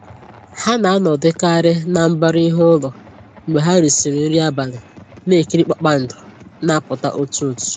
Ha na-anọdụkarị na mbara ihu ụlọ mgbe ha risịrị nri abalị, na-ekiri kpakpando na-apụta otu otu